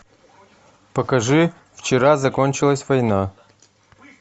покажи вчера закончилась война